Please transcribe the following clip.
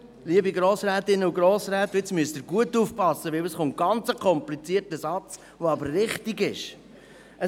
Liebe Grossrätinnen und Grossräte, jetzt müssen Sie gut aufpassen, denn es folgt ein ganz komplizierter Satz, der aber wichtig ist: